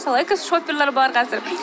мысалы экошопперлар бар қазір